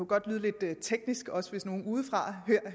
godt lyde lidt teknisk også nogle udefra